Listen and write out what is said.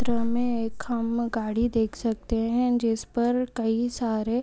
चित्र मे एक हम गाड़ी देख सकते है जिस पर कई सारे--